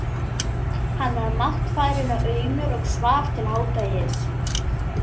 Hann var máttfarinn og aumur og svaf til hádegis.